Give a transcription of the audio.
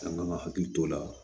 An kan ka hakili t'o la